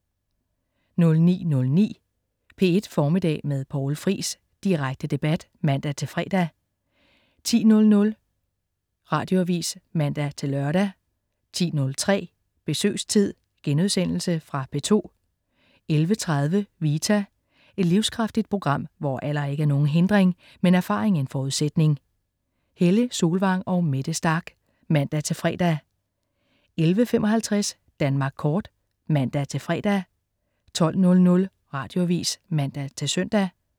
09.09 P1 Formiddag med Poul Friis. Direkte debat (man-fre) 10.00 Radioavis (man-lør) 10.03 Besøgstid.* Fra P2 11.30 Vita. Et livskraftigt program, hvor alder ikke er nogen hindring, men erfaring en forudsætning. Helle Solvang og Mette Starch (man-fre) 11.55 Danmark kort (man-fre) 12.00 Radioavis (man-søn)